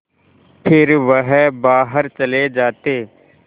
फिर वह बाहर चले जाते